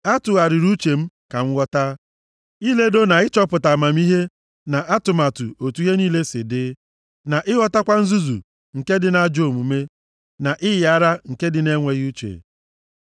A tụgharịrị uche m ka m ghọta, iledo na ịchọpụta amamihe na atụmatụ otu ihe niile si dị na ịghọtakwa nzuzu nke dị na ajọ omume na ịyị ara nke dị na enweghị uche.